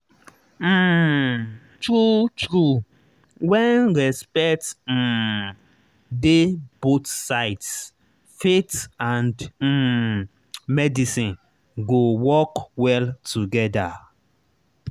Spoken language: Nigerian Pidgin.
um true true when respect um dey both sides faith and um medicine go work well together.